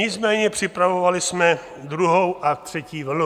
Nicméně připravovali jsme druhou a třetí vlnu.